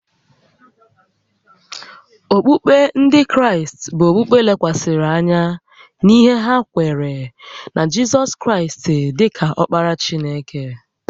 Okpukpe Ndị Kraịst bụ okpukpe lekwasịrị anya n’ihe ha kweere na Jizọs Kraịst dị ka Ọkpara Chineke